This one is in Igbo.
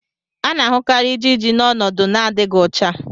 a na-ahụkarị ijiji n' ọnọdụ n'adịghị ọcha.